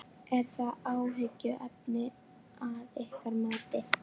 Ónafngreind kona: Hversu langt eru þið komin í þessum umræðum?